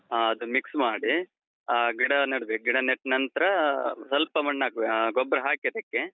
ಆ, ಅದು mix ಮಾಡಿ, ಆ ಗಿಡ ನೆಡ್ಬೇಕು. ಗಿಡ ನೆಟ್ ನಂತ್ರಾ ಸ್ವಲ್ಪ ಮಣ್ಣ್ ಹಾಕ್ಬೇಕು. ಹ ಗೊಬ್ಬರ ಹಾಕಿ ಅದಕ್ಕೆ.